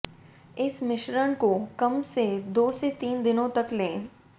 इस मिश्रण को कम से दो से तीन दिनों तक लें